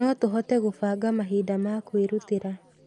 No tũhote gũbanga mahinda ma kwĩrutĩra.